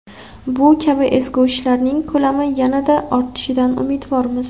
Bu kabi ezgu ishlarning ko‘lami yanada ortishidan umidvormiz.